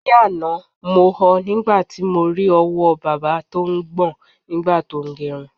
Ni àná, mo ho̩ nígbà tí mo ri o̩wó̩ bábà tó ń gbò̩n nígbà tó ń ge̩̣run.